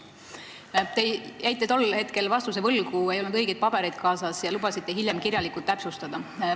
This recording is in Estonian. Te jäite tol hetkel vastuse võlgu, sest teil ei olnud õigeid pabereid kaasas ja te lubasite seda hiljem kirjalikult täpsustada.